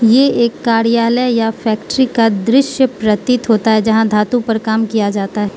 ये एक कार्यालय या फैक्ट्री का दृश्य प्रतीत होता है जहां धातु पर काम किया जाता --